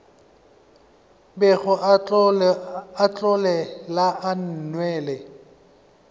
bego a otlela a nwele